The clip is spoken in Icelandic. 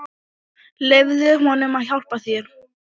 Leyfðu honum að hjálpa þér.